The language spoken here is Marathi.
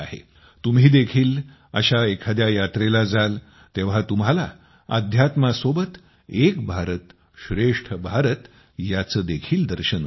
तुम्ही देखील अशा एखाद्या यात्रेला जाल तेव्हा तुम्हांला अध्यात्मासोबत एक भारतश्रेष्ठ भारत याचे देखील दर्शन होईल